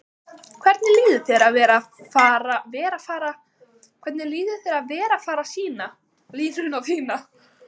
Hvernig líður þér að vera fara sýna línuna þína?